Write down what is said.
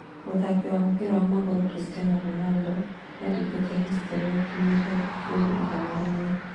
Mũthaki wa mũbĩra wa magũrũ Christinan Ronaldo nĩandĩkĩte historĩ gũkinyĩria ngolu igana rĩmwe